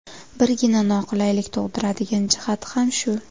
Birgina noqulaylik tug‘diradigan jihati ham shu.